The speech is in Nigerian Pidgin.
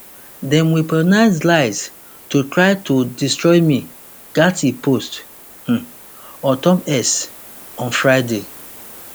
dem weaponize lies to try to destroy me gaetz post um ontop x on friday